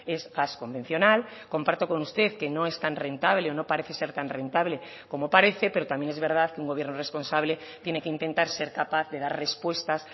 es gas convencional comparto con usted que no es tan rentable o no parece ser tan rentable como parece pero también es verdad que un gobierno responsable tiene que intentar ser capaz de dar respuestas